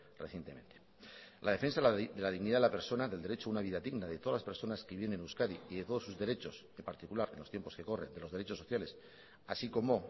recientemente la defensa de la dignidad de la persona del derecho a una vida digna de todas las personas que viven en euskadi y de todos sus derechos en particular en los tiempos que corren los derechos sociales así como